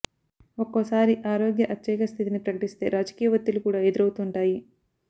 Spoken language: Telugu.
ఒక్కోసారి ఆరోగ్య అత్యయిక స్థితిని ప్రకటిస్తే రాజకీయ ఒత్తిళ్లు కూడా ఎదురవుతుంటాయి